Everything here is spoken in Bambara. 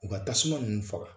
U ka tasuma ninnu faga.